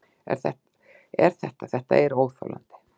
En þetta, þetta er óþolandi.